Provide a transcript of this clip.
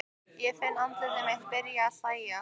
Ég finn að andlit mitt er byrjað að hlæja.